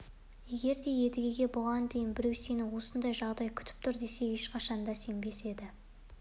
егер де едігеге бұған дейін біреу сені осындай жағдай күтіп тұр десе ешқашан да сенбес еді